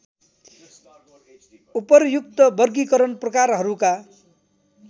उपर्युक्त वर्गीकरण प्रकारहरूका